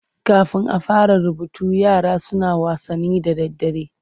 Kafin a fara rubutu yara suna wasanni da daddare.